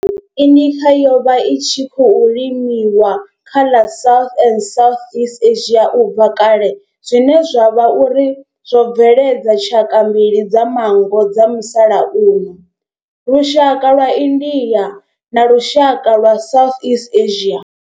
M. indica yo vha i tshi khou limiwa kha ḽa South na Southeast Asia ubva kale zwine zwa vha uri zwo bveledza tshaka mbili dza manngo dza musalauno lushaka lwa India na lushaka lwa Southeast Asia.